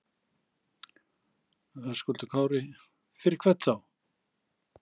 Höskuldur Kári: Fyrir hvern þá?